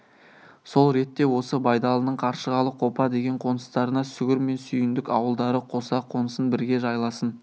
сол ретте осы байдалының қаршығалы қопа деген қоныстарына сүгір мен сүйіндік ауылдары қоса қонсын бірге жайласын